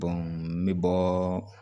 n bɛ bɔɔɔ